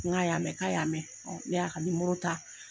N k'a y'a mɛ? k'a y'a mɛn. N y'a ka nimɔrɔ ta.